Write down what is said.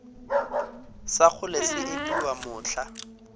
sa kgole se epiwa mohla